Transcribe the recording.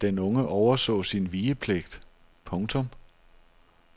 Den unge overså sin vigepligt. punktum